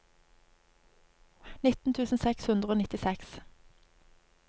nitten tusen seks hundre og nittiseks